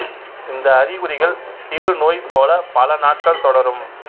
இந்த அறிகுறிகள் சிறு நோய் போல பல நாட்கள் தொடரும்